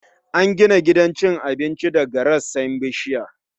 An gina gidan cin abincin daga rassan bishiya